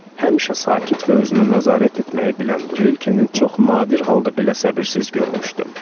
Həmişə sakit və özünə nəzarət etməyi bilən Rilkenin çox nadir halda belə səbirsiz görmüşdüm.